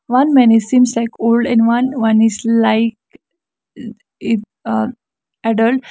one man is seems like old and one one is like eh eh uh adult.